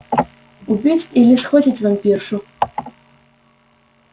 убить или схватить вампиршу